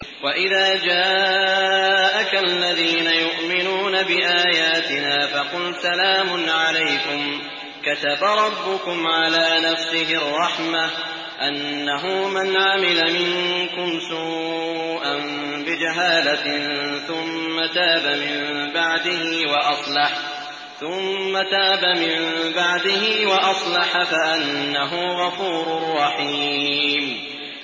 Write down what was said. وَإِذَا جَاءَكَ الَّذِينَ يُؤْمِنُونَ بِآيَاتِنَا فَقُلْ سَلَامٌ عَلَيْكُمْ ۖ كَتَبَ رَبُّكُمْ عَلَىٰ نَفْسِهِ الرَّحْمَةَ ۖ أَنَّهُ مَنْ عَمِلَ مِنكُمْ سُوءًا بِجَهَالَةٍ ثُمَّ تَابَ مِن بَعْدِهِ وَأَصْلَحَ فَأَنَّهُ غَفُورٌ رَّحِيمٌ